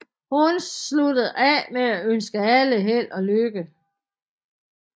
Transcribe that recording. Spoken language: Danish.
Hun sluttede af med at ønske alle held og lykke